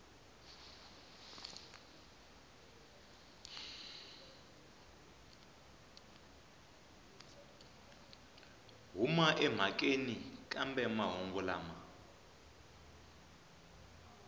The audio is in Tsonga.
huma emhakeni kambe mahungu lama